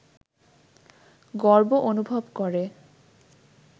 গর্ব অনুভব করে